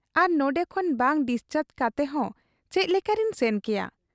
ᱟᱨ ᱱᱚᱱᱰᱮ ᱠᱷᱚᱱ ᱵᱟᱝ ᱰᱤᱥᱪᱟᱨᱡᱽ ᱠᱟᱛᱮᱦᱚᱸ ᱪᱮᱫ ᱞᱮᱠᱟᱨᱮᱧ ᱥᱮᱱ ᱠᱮᱭᱟ ?